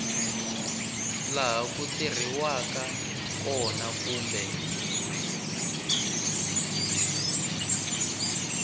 laha ku tirheriwaka kona kumbe